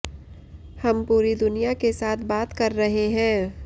हम पूरी दुनिया के साथ बात कर रहे हैं